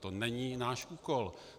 To není náš úkol.